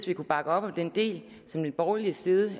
vi kunne bakke op om den del som den borgerlige side